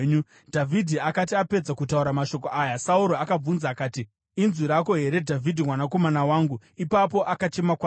Dhavhidhi akati apedza kutaura mashoko aya, Sauro akabvunza akati, “Inzwi rako here, Dhavhidhi mwanakomana wangu?” Ipapo akachema kwazvo.